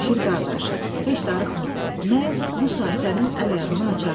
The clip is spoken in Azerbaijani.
Şir qardaş, heç darıxma, mən bu saat sənin əl-ayağını açaram.